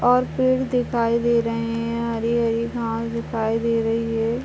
और पेड़ दिखाई दे रहे हैं हरे घास दिखाई दे रहे हैं।